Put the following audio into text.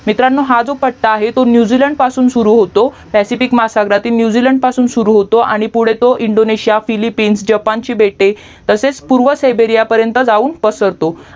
मित्रांनो हा जो पट्टा आहे तो न्यूझीलंड पासून सुरू होतो पॅसिफिक महासगरातील नुजलंड पासून सुरू होतो आणि पुधे तो इंदोनेशिया फिलिप्पिंस जपानची बेटे तसेच पूर्व सेबेरीया पर्यन्त जाऊन पसरतो